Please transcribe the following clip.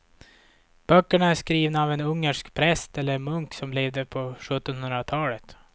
Böckerna är skrivna av en ungersk präst eller munk som levde på sjuttonhundratalet.